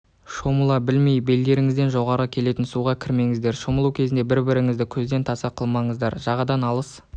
шомыла білмей белдеріңізден жоғары келетін суға кірмеңіздер шомылу кезінде бір біріңізді көзден таса қылмаңыздар жағадан алыс